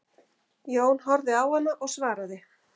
Jón horfði á hana og svaraði